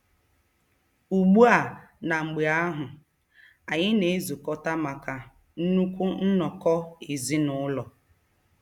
Ugbu a na mgbe ahụ, anyị na-ezukọta maka nnukwu nnọkọ ezinụlọ.